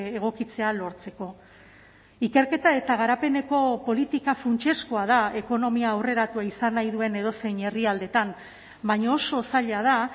egokitzea lortzeko ikerketa eta garapeneko politika funtsezkoa da ekonomia aurreratua izan nahi duen edozein herrialdetan baina oso zaila da